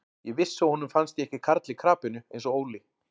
Ég vissi að honum fannst ég ekki karl í krapinu eins og Óli.